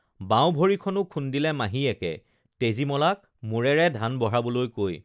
বাওঁভৰিখনো খুন্দিলে মাহীয়েকে তেজীমলাক মূৰেৰে ধান বঢ়াবলৈ কৈ